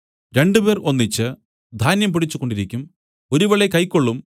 രണ്ടുപേർ ഒന്നിച്ച് ധാന്യം പൊടിച്ചു കൊണ്ടിരിക്കും ഒരുവളെ കൈക്കൊള്ളും